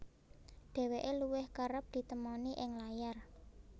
Dheweke luwih kereb ditemoni ing layar